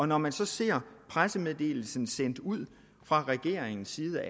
når man så ser pressemeddelelsen sendt ud fra regeringens side